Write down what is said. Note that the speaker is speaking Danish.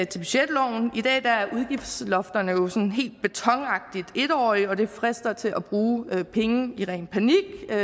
til budgetloven i dag er udgiftslofterne jo sådan helt betonagtigt en årige og det frister til at bruge penge i ren panik